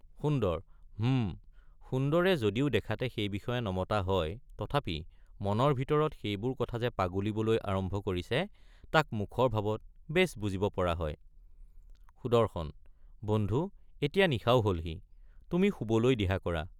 সুন্দৰ— হুঁ সুন্দৰে যদিও দেখাতে সেই বিষয়ে নমতা হয় তথাপি মনৰ ভিতৰত সেইবোৰ কথা যে পাগুলিবলৈ আৰম্ভ কৰিছে তাক মুখৰ ভাৱত বেছ বুজিব পৰা হয় সুদৰ্শন— বন্ধু এতিয়া নিশাও হলহি—তুমি শুবলৈ দিহা কৰা।